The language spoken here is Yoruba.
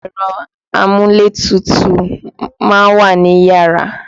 Ẹ̀rọ amúlétutù ma ń wà niyàrá.